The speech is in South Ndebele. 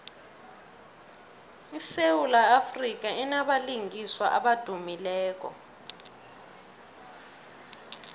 isewula afrika inabalingiswa abadumileko